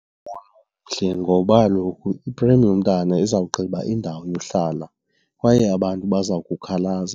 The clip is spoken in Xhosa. mbono omhle ngoba kaloku iprem yomntwana izawugqiba indawo yohlala kwaye abantu baza kukhalaza.